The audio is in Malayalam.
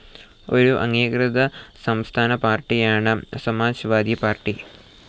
ഒരു അംഗീകൃത സംസ്ഥാന പാർട്ടിയാണ് സമാജ്‍വാദി പാർട്ടി.